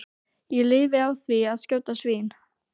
Ég lifi á því að skjóta svín.